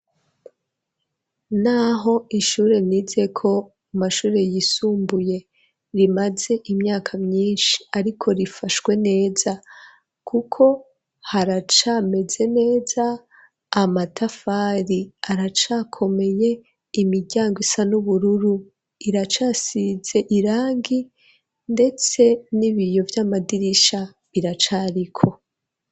Naho ishure nizeko mu mashure yisumbuye rimaze imyaka myishi ariko rifashwe neza kuko haracameze neza amatafari aracakomeye imiryango isa n'ubururu iracasize irangi ndetse n'ibiyo vy'amadirisha biracariko